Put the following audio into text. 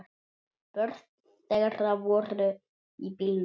Börn þeirra voru í bílnum.